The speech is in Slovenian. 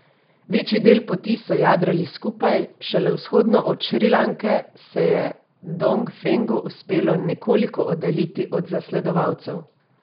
Večji del poti so jadrali skupaj, šele vzhodno od Šrilanke se je Dongfengu uspelo nekoliko oddaljiti od zasledovalcev.